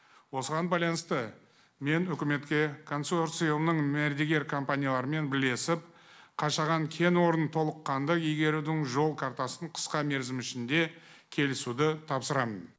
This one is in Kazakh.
осыған байланысты мен үкіметке консорциумның мәрдігер компаниялармен бірлесіп қашаған кен орнын толыққанды игерудің жол картасын қысқа мерзім ішінде келісуді тапсырамын